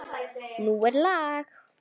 Nú er lag.